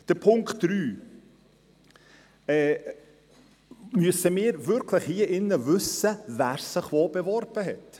Zu Punkt 3: Müssen wir hier im Rat wirklich wissen, wer sich wo beworben hat?